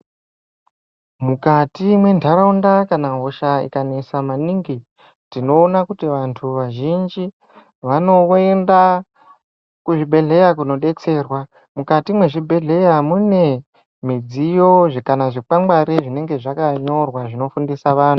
Mukati mwentaraunda kana hosha ikanesa maningi, tinoona kuti vantu vazhinji vanowenda kuzvibhedhleya kunobetserwa. Mwukati mwezvibhedhleya mune midziyo kana zvikwangwari zvinenge zvakanyorwa zvinofundisa vanhu.